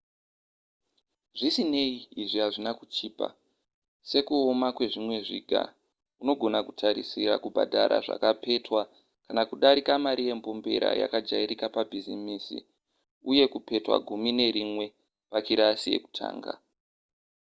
zvisinei izvi hazvina kuchipa:sekuoma kwezvimwe zviga unogona kutarisira kubhadhara zvakapetwa kana kudarika mari yembombera yakajairika pabhizimisi uye kakapetwa gumi nerimwe pakirasi yekutanga!